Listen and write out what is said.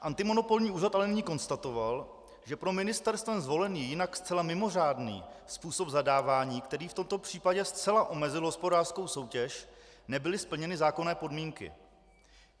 Antimonopolní úřad ale nyní konstatoval, že pro ministerstvem zvolený, jinak zcela mimořádný způsob zadávání, který v tomto případě zcela omezil hospodářskou soutěž, nebyly splněny zákonné podmínky.